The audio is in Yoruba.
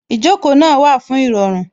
Ìjókòó náà wà fún Ìrọ̀rùn